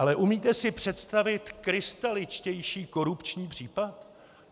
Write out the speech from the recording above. Ale umíte si představit krystaličtější korupční případ?